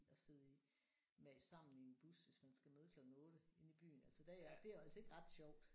At sidde i mast sammen i en bus hvis man skal møde klokken 8 inde i byen altså der er jeg det er jo altså ikke ret sjovt